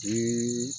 Bi